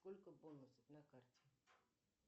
сколько бонусов на карте